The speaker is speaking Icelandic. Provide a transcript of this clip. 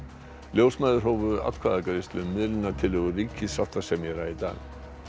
ljósmæður hófu atkvæðagreiðslu um miðlunartillögu ríkissáttasemjara í dag